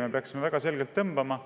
Me peaksime tõmbama